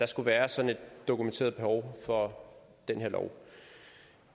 skulle være sådan et dokumenteret behov for den her lov